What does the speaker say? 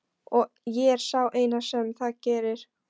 Og ég er sá eini sem það gerir.